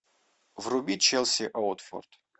вруби челси уотфорд